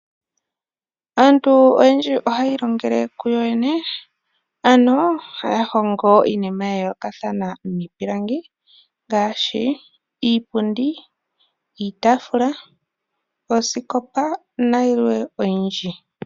Aantu oyendji ohaya ilongele kuyo yene, ano haya hongo iinima ya yoolokathana miipilangi ngaadhi, iipundi, iitafula oosikopa nayilwe oyindji.